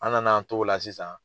An na na an t'o la sisan.